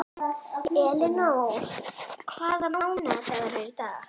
Elínór, hvaða mánaðardagur er í dag?